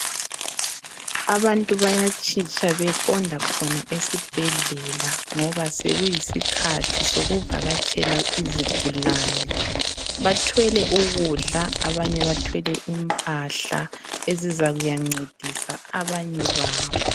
Abantu bayatshitsha beqonda khona esibhedlela ngoba sokuyisikhathi sokuvakatshela izigulane , bathwele ukudla abanye bathwele impahla ezizakuyancedisa abanye babo